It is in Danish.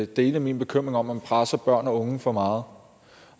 dele min bekymring om at man presser børn og unge for meget